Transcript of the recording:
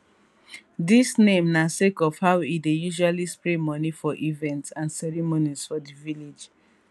dis name na sake of how e dey usually spray money for events and ceremonies for di village